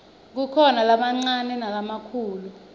kukhona lamancane nalamakhulu